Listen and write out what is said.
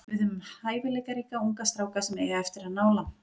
Við höfum hæfileikaríka unga stráka sem eiga eftir að ná langt.